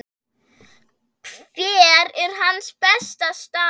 Hver er hans besta staða?